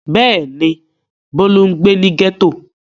Bẹ́ẹ̀ ni, Bólú ń gbé ní gẹ́tò.